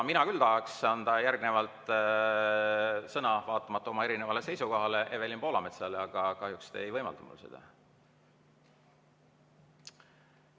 Mina küll tahaks anda järgnevalt sõna, vaatamata oma erinevale seisukohale, Evelin Poolametsale, aga kahjuks te ei võimalda mul seda.